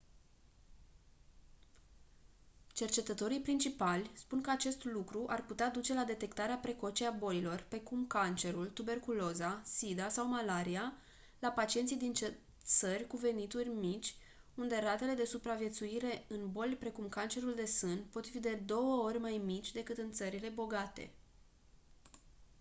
cercetătorii principali spun că acest lucru ar putea duce la detectarea precoce a bolilor precum cancerul tuberculoza sida sau malaria la pacienții din țări cu venituri mici unde ratele de supraviețuire în boli precum cancerul de sân pot fi de două ori mai mici decât în țările bogate